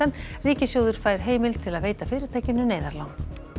ríkissjóður fær heimild til að veita fyrirtækinu neyðarlán